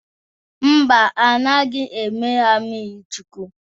Mba, a naghị eme ha mmirichukwu.